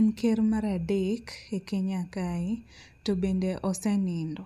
en ker mar adek e Kenya kae to bende osenindo.